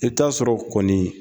I t'a sɔrɔ o ko kɔni.